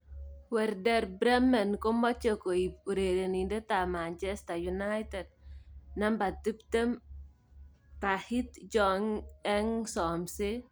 (Express) Werder Bremen komoche koip urerenindet ab Manchester United, 20, Tahith Chong eng somset.